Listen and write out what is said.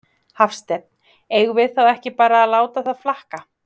Hafsteinn: Eigum við þá ekki bara að láta það flakka?